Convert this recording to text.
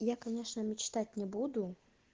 я конечно мечтать не буду